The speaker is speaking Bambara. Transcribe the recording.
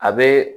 A bɛ